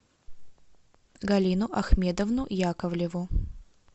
галину ахмедовну яковлеву